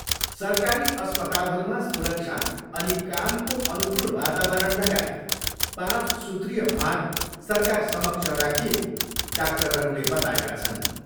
सरकारी अस्पतालहरूमा सुरक्षा अनि कामको अनुकूल वातावरण लगायत पाँच सूत्रीय माग सरकारसमक्ष राखिएको डाक्टरहरूले बताएका छन्।